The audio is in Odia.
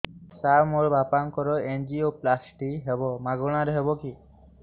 ସାର ମୋର ବାପାଙ୍କର ଏନଜିଓପ୍ଳାସଟି ହେବ ମାଗଣା ରେ ହେବ କି